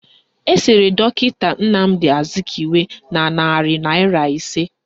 Esere dọkịta Nnamdi Azikiwe n' narị naịra ise